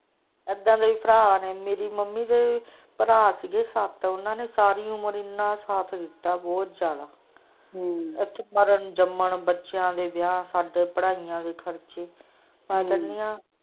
ਇਹਦਾ ਦੇ ਵੀ ਭਰਾ ਨੇ ਮੇਰੀ ਮੰਮੀ ਦੇ ਭਰਾ ਸੀ ਗਏ ਸੱਤ ਉਹਨਾਂ ਨੇ ਸਾਰੀ ਉਮਰ ਇਹਨਾਂ ਸਾਥ ਦਿੱਤਾ ਬਹੁਤ ਜਿਅਦਾ ਮਰਨ ਜਨਮ ਸਾਰੀ ਬੱਚਿਆਂ ਦੇ ਵਿਆਹ ਸਾਡੇ ਪਾੜਿਆ ਦੇ ਖ਼ਰਚੇ।